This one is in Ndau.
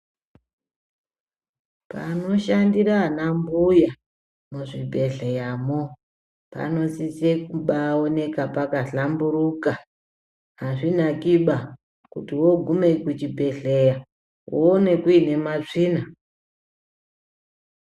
Panoshandira anambuya muzvimbehleyamo panosise kubaaoneka pakabaahlamburuka .Azvinakiba kuti woogume kuchibhehleya , woone kuine matsvina .